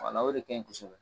o de ka ɲi kosɛbɛ